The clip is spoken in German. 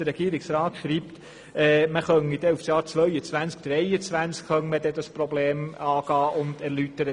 Der Regierungsrat schreibt, man könne das Problem per 2022 oder 2023 angehen.